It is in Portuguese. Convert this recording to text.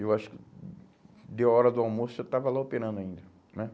Eu acho que deu hora do almoço e eu estava lá operando ainda, né?